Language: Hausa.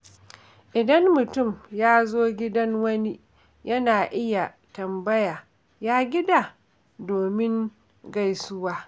Idan mutum ya zo gidan wani, yana iya tambaya “Ya gida?” domin gaisuwa.